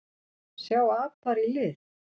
Sjá apar í lit?